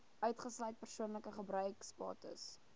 uitgesluit persoonlike gebruiksbates